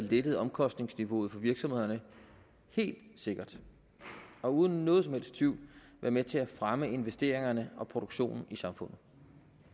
lettet omkostningsniveauet for virksomhederne helt sikkert og uden nogen som helst tvivl være med til at fremme investeringerne og produktionen i samfundet